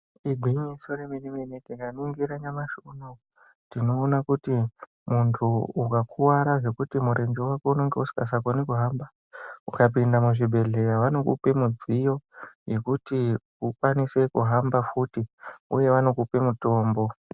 Igwinyiso remene mene tikaningira nyamashi unowu tinoona kuti muntu ukakwara zvokuti murenje wako unenge u usingasa koni kuhamba, ukapinda muzvibhedhlera vanokupe midziyo yokuti ukwanise kuhamba futhi uye vanokupe mutombo.